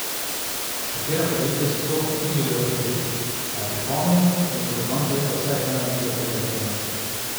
Katera podjetja so to, ni želel razkriti, a je pripomnil, da bo do konca leta vsaj ena velika privatizacija.